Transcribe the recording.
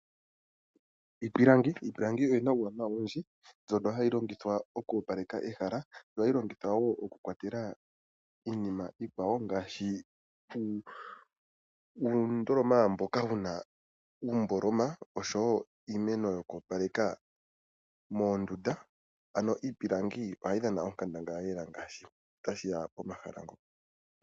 Iipilangi. Iipilangi oyina uuwanawa owundji. Ohayi longithwa oku opaleka ehala. Ohayi longithwa woo oku kwatela iinima iikwawo ngaashi uundoloma mboka wuna uumboloma oshowo iimeno yoku opaleka moondunda ano iipilangi ohayi dhana onkandangala lela ngaashi tashiya pomahala ngono.